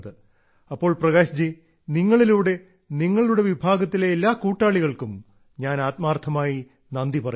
അപ്പോൾ പ്രകാശ് ജി നിങ്ങളിലൂടെ നിങ്ങളുടെ വിഭാഗത്തിലെ എല്ലാ കൂട്ടാളികൾക്കും ഞാൻ ആത്മാർത്ഥമായി നന്ദി പറയുന്നു